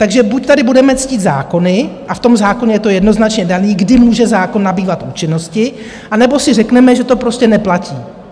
Takže buď tady budeme ctít zákony, a v tom zákoně je to jednoznačně dané, kdy může zákon nabývat účinnosti, anebo si řekneme, že to prostě neplatí.